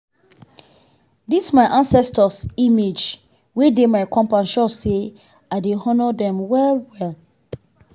this my ancestors image wey dey my compound show say i dey honour dem well well.